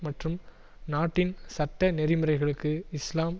மற்றும் நாட்டின் சட்ட நெறி முறைகளுக்கு இஸ்லாம்